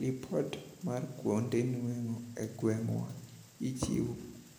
Lipot mar kuonde nueng'o e gweng'wa ichiwo